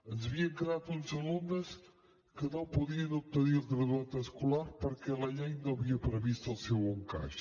ens havien quedat uns alumnes que no podien obtenir el graduat escolar perquè la llei no havia previst el seu encaix